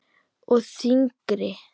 Og þyngri.